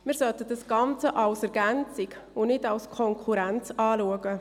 Das sollten wir als Ergänzung und nicht als Konkurrenz betrachten.